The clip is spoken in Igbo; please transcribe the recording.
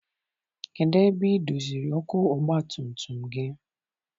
Kedụ ebe I doziri ọkụ ọgbatumtum gị?